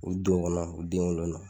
U don kɔnɔ u den wolo